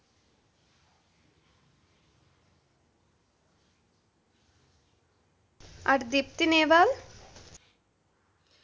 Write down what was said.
আর Deepti Naval